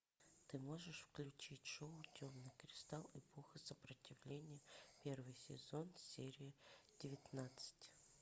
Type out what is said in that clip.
ты можешь включить шоу темный кристалл эпоха сопротивления первый сезон серия девятнадцать